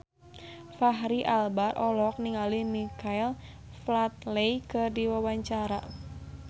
Fachri Albar olohok ningali Michael Flatley keur diwawancara